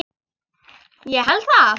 Ég held það,